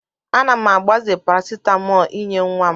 Ana m agbaze parasitamọl inye nwa m.